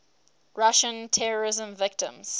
russian terrorism victims